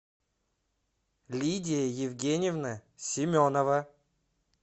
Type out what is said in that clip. лидия евгеньевна семенова